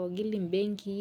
ogil imbenkii.